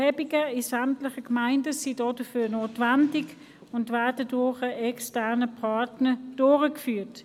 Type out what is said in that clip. Dazu sind Erhebungen in sämtlichen Gemeinden notwendig, die ein externer Partner durchführt.